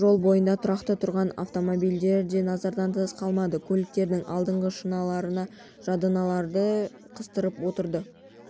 жол бойында тұрақта тұрған автомобильдер де назардан тыс қалмады көліктердің алдыңғы шыныларына жадынамалар қыстырып отырды